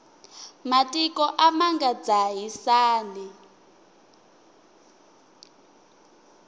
matiko a ma nga dzahisani